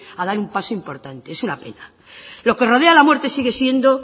a dar un paso importante es una pena lo que rodea a la muerte sigue siendo